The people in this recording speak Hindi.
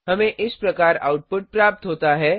हमें इस प्रकार आउटपुट प्राप्त होता है